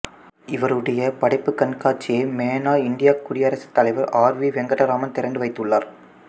இவருடைய படைப்புக்கண்காட்சியை மேனாள் இந்தியக்குடியரசுத் தலைவர் ஆர் வி வெங்கட்ராமன் திறந்து வைத்துள்ளார்